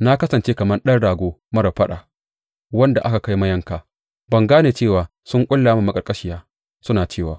Na kasance kamar ɗan rago marar faɗa wanda aka kai mayanka; ban gane cewa sun ƙulla mini maƙarƙashiya, suna cewa,